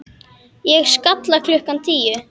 Á Skalla klukkan tíu!